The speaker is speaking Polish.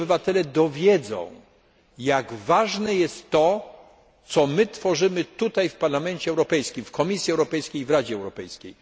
Niech się obywatele dowiedzą jak ważne jest to, co my tworzymy tutaj w Parlamencie Europejskim, w Komisji Europejskiej, w Radzie Europejskiej.